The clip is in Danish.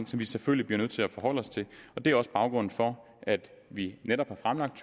som vi selvfølgelig bliver nødt til at forholde os til det er også baggrunden for at vi netop har fremlagt